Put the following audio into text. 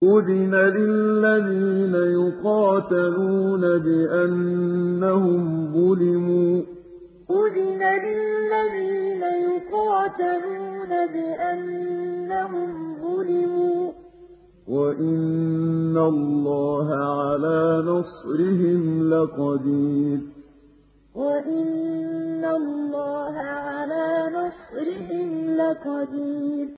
أُذِنَ لِلَّذِينَ يُقَاتَلُونَ بِأَنَّهُمْ ظُلِمُوا ۚ وَإِنَّ اللَّهَ عَلَىٰ نَصْرِهِمْ لَقَدِيرٌ أُذِنَ لِلَّذِينَ يُقَاتَلُونَ بِأَنَّهُمْ ظُلِمُوا ۚ وَإِنَّ اللَّهَ عَلَىٰ نَصْرِهِمْ لَقَدِيرٌ